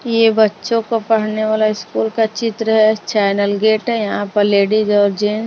ये बच्चों को पढ़ने वाला स्कूल का चित्र है चैनल गेट है यहां पर लेडीज और जेन्--